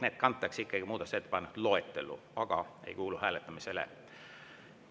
Need kantakse muudatusettepanekute loetellu, aga ei kuulu hääletamisele.